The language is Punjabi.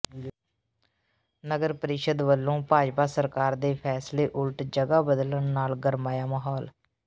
ਨਗਰ ਪ੍ਰੀਸ਼ਦ ਵਲੋਂ ਭਾਜਪਾ ਸਰਕਾਰ ਦੇ ਫੈਸਲੇ ਉਲਟ ਜਗਾ ਬਦਲਣ ਨਾਲ ਗਰਮਾਇਆ ਮਾਹੌਲ